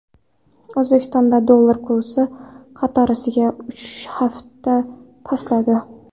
O‘zbekistonda dollar kursi qatorasiga uchinchi hafta pastladi.